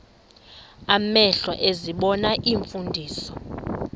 amehlo ezibona iimfundiso